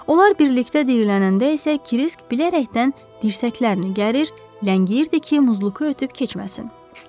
Onlar birlikdə diyirlənəndə isə Krisk bilərəkdən dirsəklərini gərir, ləngiyirdi ki, Muzluku ötüb keçməsin.